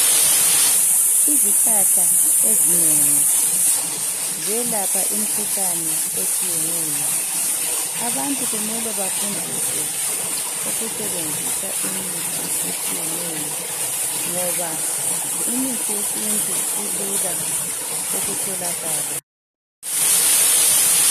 Izihlahla ezinengi ziyelapha imkhuhlane etshiyetshiyeneyo. Abantu kumele bafundiswe ukusebenzisa imithi etshiyeneyo ngoba imithi yesintu ilula ukutholakala.